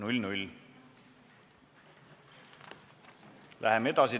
Läheme edasi!